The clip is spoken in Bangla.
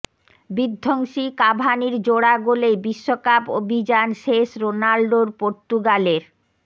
বিধ্বংসী কাভানির জোড়া গোলেই বিশ্বকাপ অভিযান শেষ রোনাল্ডোর পর্তুগালের